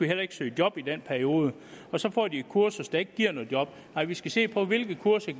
heller ikke søge job i den periode og så får de et kursus der ikke giver noget job nej vi skal se på hvilke kurser